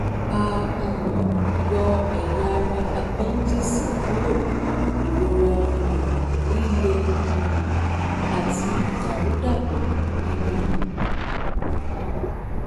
a um yọ ẹ̀yà ara àpẹ́ńdíìsì kúrò ìrora um líle um àti ìdàrúdàpọ̀ nínú ikùn